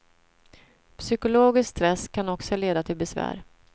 Psykologisk stress kan också leda till besvär.